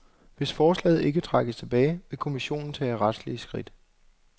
Hvis forslaget ikke trækkes tilbage, vil kommissionen tage retslige skridt.